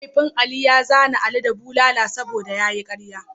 Mahaifin Ali ya zane ali da bulala saboda ya yi ƙarya.